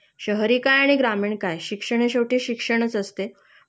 शहरी काय आणि ग्रामीण काय? शिक्षण हे शेवटी शिक्षणचं असते